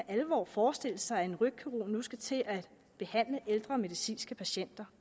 alvor forestille sig at en rygkirurg nu skal til at behandle ældre medicinske patienter